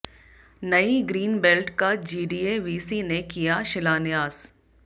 नई green belt का GDA VC ने किया शिलान्यास